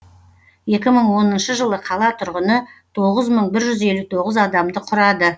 екі мың оныншы жылы қала тұрғыны тоғыз мың бір жүз елу тоғыз адамды құрады